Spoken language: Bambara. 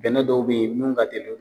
Bɛnɛ dɔw be yen minnu ka teli